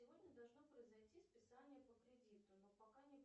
сегодня должно произойти списание по кредиту но пока не